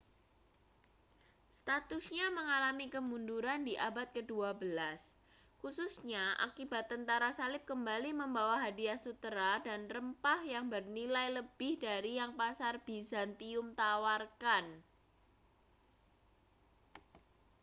statusnya mengalami kemunduran di abad kedua belas khususnya akibat tentara salib kembali membawa hadiah sutera dan rempah yang bernilai lebih dari yang pasar bizantium tawarkan